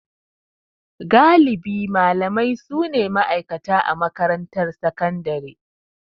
Galibi malamai su ne ma'aikata a makarantar sakandare.